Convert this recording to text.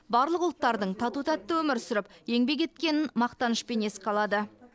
барлық ұлттардың тату тәтті өмір сүріп еңбек еткенін мақтанышпен еске алады